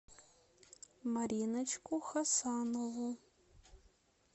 мариночку хасанову